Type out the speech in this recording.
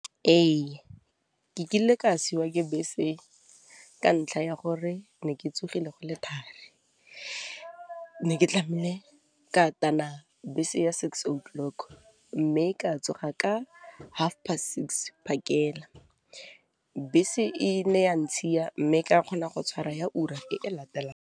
Ee, kile ka siwa ke bese ka ntlha ya gore ne ke tsogile go le thari, ne ke tlamile ka tana bese se ya six o'clock, mme ka tsoga ka half past six phakela, bese e ne ya ntshiya mme ka kgona go tshwara ya ura e e latelang.